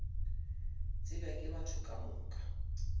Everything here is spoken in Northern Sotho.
tsebja ke batho ka moka